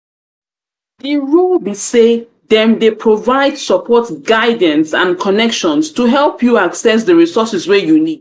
di role be say dem dey provide support guidance and connections to help you access di resources wey you need.